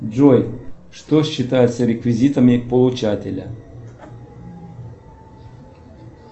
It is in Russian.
джой что считается реквизитами получателя